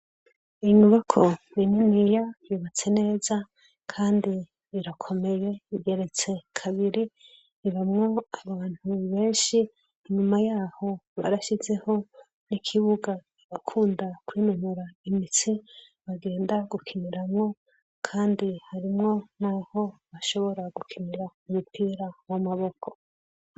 Inyubako niniya yubatse neza kandi irakomeye, igeretse kabiri, ibamwo abantu benshi, inyuma yaho barashizeho ikibuga abakunda kwinonora imitsi bagenda gukiniramwo, kandi harimwo naho bashobora gukinira umupira wamaboko.